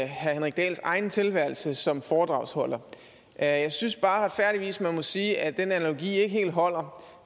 herre henrik dahls egen tilværelse som foredragsholder jeg synes bare retfærdigvis man må sige at den analogi ikke helt holder